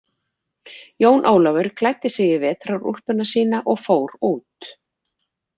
Jón Ólafur klæddi sig í vetrarúlpuna sína og fór út.